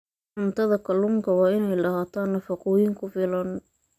Cuntada kalluunka waa inay lahaataa nafaqooyin ku filan.